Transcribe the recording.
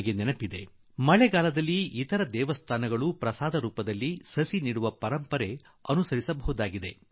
ಅಂಬಾಜೀ ಮಂದಿರ ಈ ಮಳೆಗಾಲದಲ್ಲೂ ಪ್ರಸಾದಕ್ಕೆ ಬದಲಾಗಿ ಗಿಡವನ್ನು ನೀಡುವ ಪರಂಪರೆ ಆರಂಭಿಸಬಹುದಾಗಿದೆ